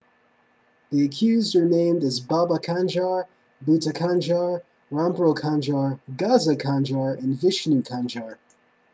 the accused are named as baba kanjar bhutha kanjar rampro kanjar gaza kanjar and vishnu kanjar